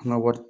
An ka wari